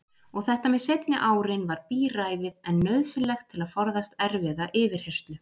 Og þetta með seinni árin var bíræfið en nauðsynlegt til að forðast erfiða yfirheyrslu.